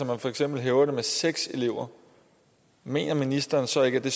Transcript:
man for eksempel hævede det med seks elever mener ministeren så ikke at det